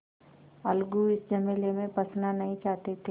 अलगू इस झमेले में फँसना नहीं चाहते थे